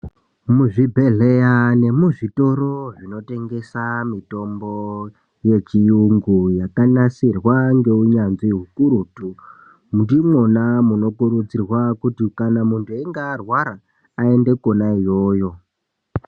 Muzvibhedhleya nemuzvitoro zvinotengesa mitombo yechiyungu yakananasirwa ngeunyanzvi ukurutu, ndimwona munokurudzirwa kuti kana muntu einge arwara, aende kwona iyoyo.